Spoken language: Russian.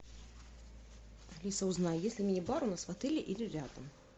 алиса узнай есть ли мини бар у нас в отеле или рядом